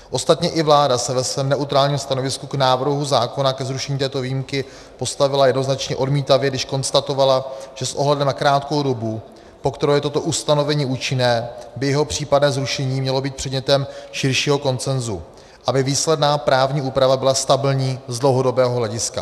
Ostatně i vláda se ve svém neutrálním stanovisku k návrhu zákona ke zrušení této výjimky postavila jednoznačně odmítavě, když konstatovala, že s ohledem na krátkou dobu, po kterou je toto ustanovení účinné, by jeho případné zrušení mělo být předmětem širšího konsenzu, aby výsledná právní úprava byla stabilní z dlouhodobého hlediska.